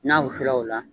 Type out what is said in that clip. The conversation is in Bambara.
N'a wusula o la